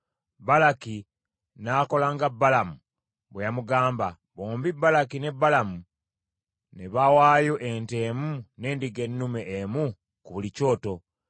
Balaki n’akola nga Balamu bwe yamugamba; bombi Balaki ne Balamu ne bawaayo ente emu n’endiga ennume emu ku buli kyoto.